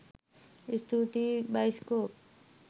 ස්තුතියි බයිස්කොප්